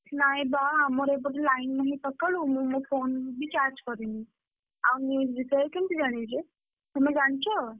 ନାଇଁବା ଆମର ଏପଟେ line ନାହିଁ ସକାଳୁ ମୁଁ ମୋ phone ବି charge କରିନି। ଆଉ news ବିଷୟରେ କେମିତି ଜାଣିବି ଯେ, ତମେ ଜାଣିଛ?